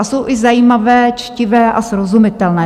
A jsou i zajímavé, čtivé a srozumitelné.